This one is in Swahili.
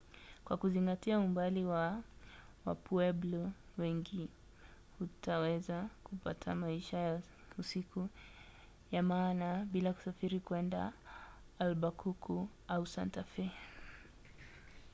kwa kuzingatia umbali wa wapueblo wengi hutaweza kupata maisha ya usiku ya maana bila kusafiri kwenda albakuku au santa fe